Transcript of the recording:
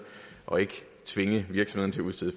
og ikke tvinge virksomhederne til at